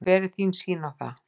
Hver er þín sýn á það?